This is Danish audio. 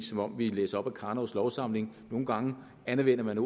som om vi læser op af karnovs lovsamling nogle gange anvender man